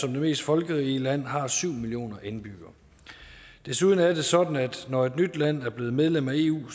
er det mest folkerige lande har syv millioner indbyggere desuden er det sådan at når et nyt land er blevet medlem af eu